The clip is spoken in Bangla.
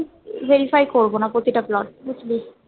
Verify করবো না প্রতিটা plot বুঝলি